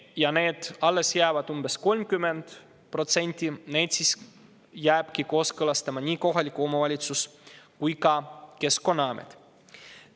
Ja alles jäänud umbes 30% jääbki kooskõlastama nii kohalik omavalitsus kui ka Keskkonnaamet.